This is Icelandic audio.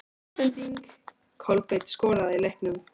Vísbending: Kolbeinn skoraði í leiknum?